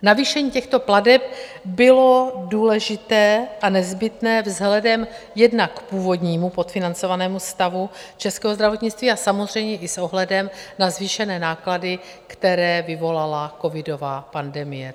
Navýšení těchto plateb bylo důležité a nezbytné vzhledem jednak k původnímu podfinancovanému stavu českého zdravotnictví a samozřejmě i s ohledem na zvýšené náklady, které vyvolala covidová pandemie.